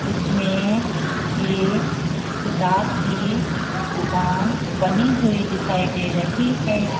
इसमें एक किताब की दुकान बनी हुई दिखाई दे रही है।